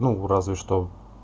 ну разве что